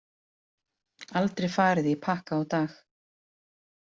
Aldrei farið í pakka á dag.